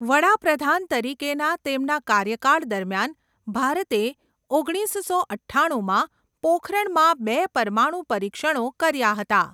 વડા પ્રધાન તરીકેના તેમના કાર્યકાળ દરમિયાન, ભારતે ઓગણીસસો અઠ્ઠાણુંમાં પોખરણમાં બે પરમાણુ પરીક્ષણો કર્યા હતા.